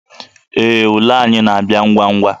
Ee, ule anyị na-abịa ngwa ngwa